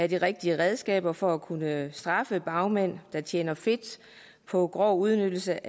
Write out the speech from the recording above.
de rigtige redskaber for at kunne straffe bagmænd der tjener fedt på grov udnyttelse